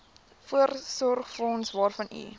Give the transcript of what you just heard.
voorsorgsfonds waarvan u